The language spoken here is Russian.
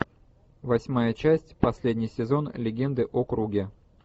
восьмая часть последний сезон легенды о круге